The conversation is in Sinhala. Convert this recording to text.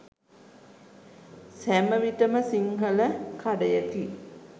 සැම විටම සිංහල කඩයකි